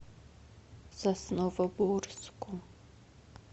сосновоборску